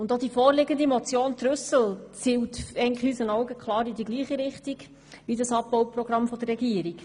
Auch die vorliegende Motion Trüssel zielt unseres Erachtens in dieselbe Richtung wie das Abbauprogramm der Regierung.